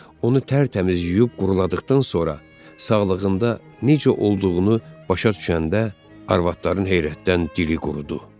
Onu tərtəmiz yuyub quruladıqdan sonra, sağlığında necə olduğunu başa düşəndə, arvadların heyrətdən dili qurudu.